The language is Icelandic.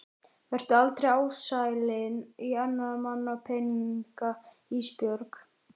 Vertu aldrei ásælin í annarra manna peninga Ísbjörg.